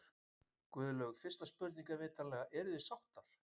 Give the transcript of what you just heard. Guðlaug, fyrsta spurning, er vitanlega: Eruð þið sáttar?